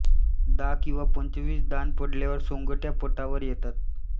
दहा किंवा पंचवीस दान पडल्यावर सोंगट्या पटावर येतात